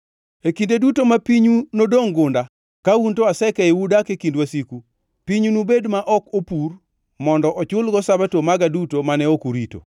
E kinde duto ma pinyu nodongʼ gunda, ka un to asekeyou udak e kind wasiku; pinyu nobed ma ok opur mondo ochulgo Sabato maga duto mane ok urito.